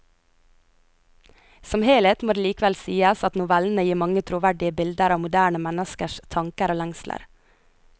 Som helhet må det likevel sies at novellene gir mange troverdige bilder av moderne menneskers tanker og lengsler.